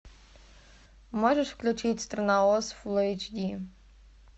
можешь включить страна оз фулл эйч ди